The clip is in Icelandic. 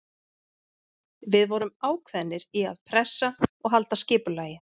Við vorum ákveðnir í að pressa og halda skipulagi.